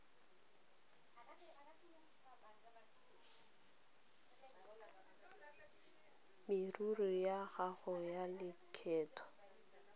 merero ya gago ya lekgetho